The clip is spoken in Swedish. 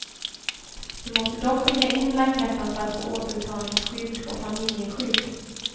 Du måste dock skicka in blanketten för att få återbetalningsskydd och familjeskydd.